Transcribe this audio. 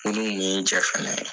Minnu ye n jɛ fɛnɛ